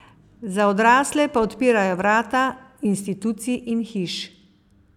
Za odrasle pa odpirajo vrata institucij in hiš.